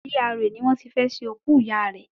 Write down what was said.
GRA ni wọ́n tí fẹ́ ṣe òkú ìyá rẹ̀